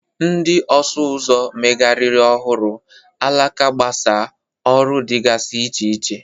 Ndị ọsụ ụzọ megharịrị ọhụrụ, alaka gbasaa, ọrụ dịgasị iche iche.